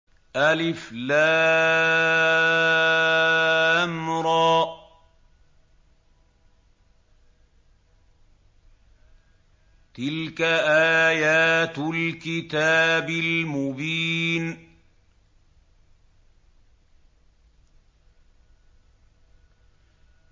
الر ۚ تِلْكَ آيَاتُ الْكِتَابِ الْمُبِينِ